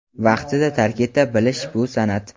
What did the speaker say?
Vaqtida tark eta bilish bu san’at.